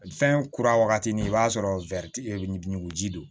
Fɛn kura wagati ni i b'a sɔrɔ ɲuguji don